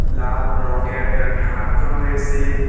লাল রঙ্গের একটা ঢাক রয়েসে।